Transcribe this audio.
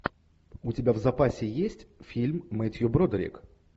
у тебя в запасе есть фильм мэттью бродерик